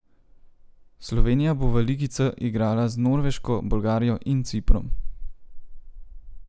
Slovenija bo v ligi C igrala z Norveško, Bolgarijo in Ciprom.